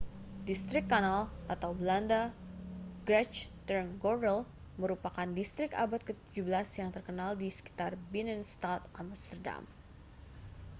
distrik kanal belanda: grachtengordel merupakan distrik abad ke-17 yang terkenal di sekitar binnenstad amsterdam